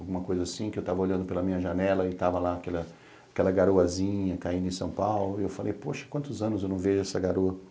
alguma coisa assim, que eu estava olhando pela minha janela e estava lá aquela garoazinha caindo em São Paulo, e eu falei, poxa, quantos anos eu não vejo essa garoa.